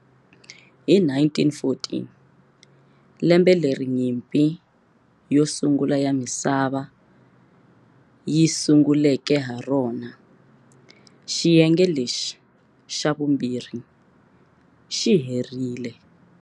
Hi 1914, lembe leri Nyimpi yo Sungula ya Misava yi sunguleke ha rona, xiyenge lexi xa vumbirhi xi herile.